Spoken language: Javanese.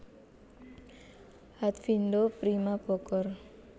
Hatfindo Prima Bogor